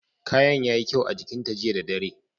Kayan yayi kyau a jikin ta jiya da dare.